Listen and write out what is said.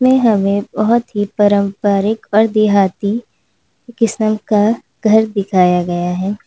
हमें बहुत ही पारंपरिक और देहाती किस्म का घर दिखाया गया है।